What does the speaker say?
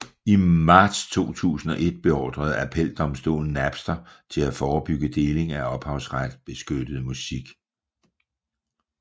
I marts 2001 beordrede appeldomstolen Napster til at forebygge deling af ophavsretsbeskyttet musik